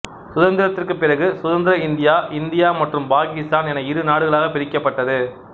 சுதந்திரத்திற்குப் பிறகு சுதந்திர India India மற்றும் பாகிஸ்தான் என இரு நாடுகளாக பிரிக்கப்பட்டது